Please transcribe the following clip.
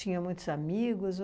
muitos amigos?